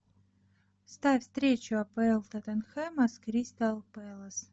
ставь встречу апл тоттенхэма с кристал пэлас